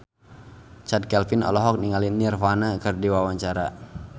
Chand Kelvin olohok ningali Nirvana keur diwawancara